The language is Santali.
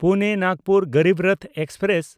ᱯᱩᱱᱮ–ᱱᱟᱜᱽᱯᱩᱨ ᱜᱚᱨᱤᱵ ᱨᱚᱛᱷ ᱮᱠᱥᱯᱨᱮᱥ